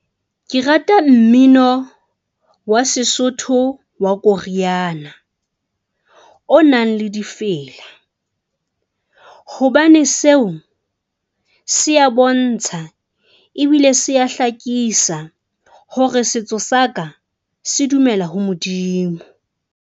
Ke rata mmino wa Sesotho wa koriana o nang le difela, hobane seo se ya bontsha ebile se ya hlakisa hore setso saka se dumela ho Modimo.